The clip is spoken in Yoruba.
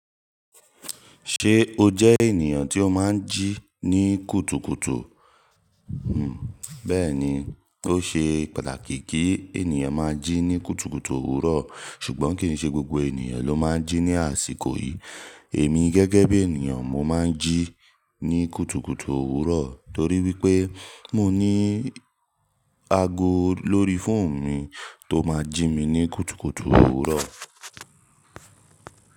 Ṣé o jẹ́ ènìyàn tí ó máa ń jí ní kùtùkùtù? Hmm. Bẹ́ẹ̀ni, ó ṣe pàtàkì kí ènìyàn máa jí ní kùtùkùtù òwúrọ̀, ṣùgbọ́n kì í ṣe gbogbo ènìyàn ló máa ń jí ní àsìkò yìí. Èmi gẹ́gẹ́ bí ènìyàn, mo máa ń jí ní kùtùkùtù òwúrọ̀ torí wípé mo ní ago lórí fóònù mi tó máa ń jí mi ní kùtùkùtù òwúrọ̀.